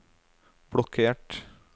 blokkert